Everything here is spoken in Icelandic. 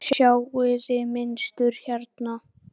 Sjáiði mynstur hérna?